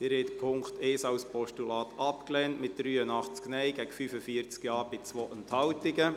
Sie haben den Punkt 1 als Postulat abgelehnt mit 83 Nein- zu 45 Ja-Stimmen bei 2 Enthaltungen.